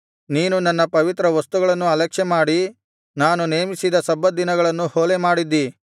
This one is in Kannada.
ನೀನು ನನ್ನ ಪವಿತ್ರ ವಸ್ತುಗಳನ್ನು ಅಲಕ್ಷ್ಯಮಾಡಿ ನಾನು ನೇಮಿಸಿದ ಸಬ್ಬತ್ ದಿನಗಳನ್ನು ಹೊಲೆಮಾಡಿದ್ದಿ